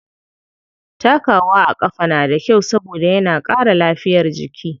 Takawa a ƙafa na da kyau saboda yana ƙara lafiyar jiki.